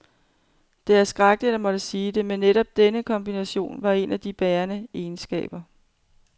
Det er skrækkeligt at måtte sige det, men netop denne kombination var en af de bærende egenskaber.